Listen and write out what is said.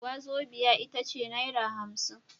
Wazobia itace naira hamsin